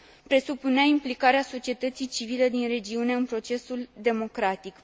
Presupunea implicarea societății civile din regiune în procesul democratic.